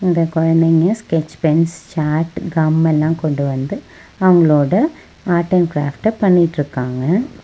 இந்த கொழந்தைங்க sketch pens chart gum எல்லா கொண்டு வந்து அவங்களோட ஆர்ட் அண்ட் க்ராஃப்ட்ட பண்ணிட்ருக்காங்க.